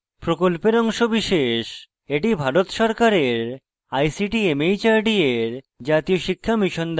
এটি ভারত সরকারের ict mhrd এর জাতীয় শিক্ষা mission দ্বারা সমর্থিত